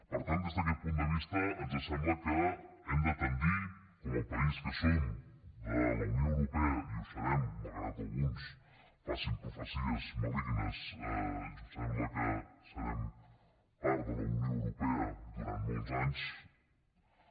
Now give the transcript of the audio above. per tant des d’aquest punt de vista ens sembla que hem de tendir com a país que som de la unió europea i ho serem malgrat que alguns facin profecies malignes sembla que serem part de la unió europea durant molts anys